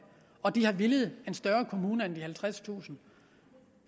og de har villet en større kommune end de halvtredstusind